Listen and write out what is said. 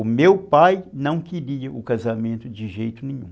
O meu pai não queria o casamento de jeito nenhum.